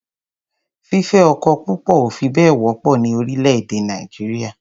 Fífẹ́ ọkọ púpọ̀ ò fi bẹ́ẹ̀ wọ́pọ̀ ní orílẹ̀-èdẹ̀ Nàìjíríà.